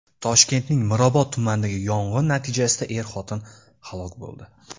Toshkentning Mirobod tumanidagi yong‘in natijasida er-xotin halok bo‘ldi.